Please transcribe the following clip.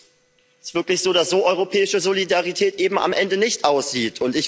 Das ist wirklich so, dass europäische Solidarität eben am Ende so nicht aussieht.